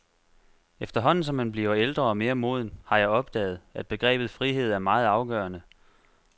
Efterhånden som man bliver ældre og mere moden, har jeg opdaget, at begrebet frihed er meget afgørende.